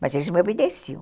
Mas eles me obedeciam.